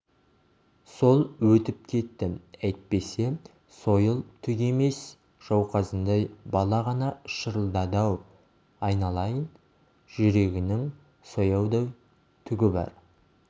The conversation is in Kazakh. сол өтіп кетті әйтпесе сойыл түк емес жауқазындай бала ғана шырылдады-ау айналайын-ай жүрегінің сояудай түгі бар